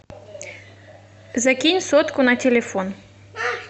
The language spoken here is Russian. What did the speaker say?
закинь сотку на телефон